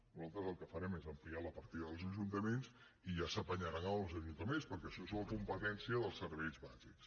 nosaltres el que farem és ampliar la partida dels ajuntaments i ja s’apanyaran en els ajuntaments perquè això és una competència dels serveis bàsics